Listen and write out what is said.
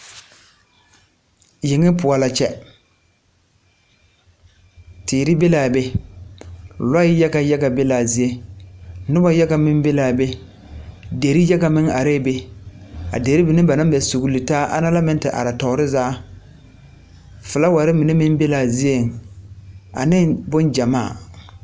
Yenga poɔ la kyɛ, teere be la be, loɛɛ yaga yaga be la a zie, noba yaga meŋ be la a be, dire yaga meŋ are la be, a dirii mine meŋ ba naŋ mɛɛ sugli taa ana la meŋ he are toore zaa, filaaware mine meŋ be la zieŋ aneŋ boŋ kyemaa.